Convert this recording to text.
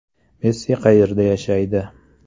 Messi qayerda yashaydi?